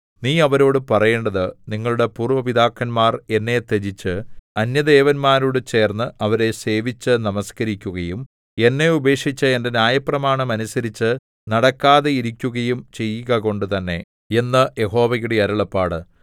നീ അവരോടു പറയേണ്ടത് നിങ്ങളുടെ പൂര്‍വ്വ പിതാക്കന്മാർ എന്നെ ത്യജിച്ച് അന്യദേവന്മാരോടു ചേർന്നു അവരെ സേവിച്ചു നമസ്കരിക്കുകയും എന്നെ ഉപേക്ഷിച്ച് എന്റെ ന്യായപ്രമാണം അനുസരിച്ചു നടക്കാതെയിരിക്കുകയും ചെയ്യുകകൊണ്ടു തന്നെ എന്ന് യഹോവയുടെ അരുളപ്പാട്